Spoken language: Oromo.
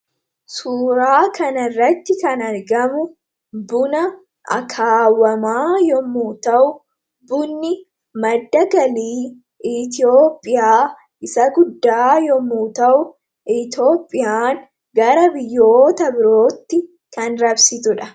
Suuraa kana irratti kan argamu, buna akaawwamaa yemmuu ta'u, bunni madda galii Itoophiyaa isa guddaa yemmuu ta'u, Itoophiyaan gara biyyoota biraatti kan raabsitudha.